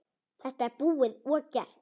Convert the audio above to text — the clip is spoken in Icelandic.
Þetta er búið og gert.